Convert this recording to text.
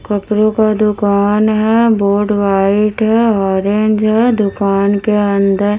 कचरे का दुकान है बोर्ड व्हाइट है ऑरेंज है दुकान के अंदर--